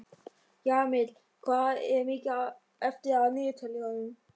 Jamil, hvað er mikið eftir af niðurteljaranum?